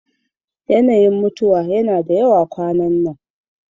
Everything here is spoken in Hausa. Yanayin mutuwa yana da yawa kwanan nan.